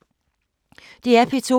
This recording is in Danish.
DR P2